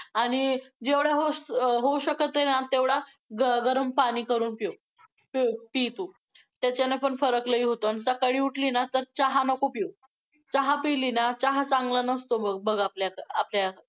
आणि जेवढ्या होऊ~होऊ शकते ना, तेवढा गरम~गरम पाणी करून पिऊ. पी तू. त्याच्याने पण फरक लय होतो आणि सकाळी उठली ना तर चहा नको पिऊ. चहा पि ली ना चहा चांगला नसतो बघ बघ आपल्या आपल्या,